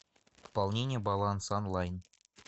пополнение баланса онлайн